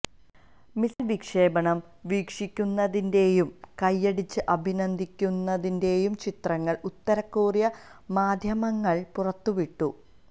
missile വിക്ഷേപണം വീക്ഷിക്കുന്നതിന്റെയും കയ്യടിച്ച് അഭിനന്ദിക്കുന്നതിന്റെയും ചിത്രങ്ങള് ഉത്തരകൊറിയന് മാധ്യമങ്ങള് പുറത്തുവിട്ടു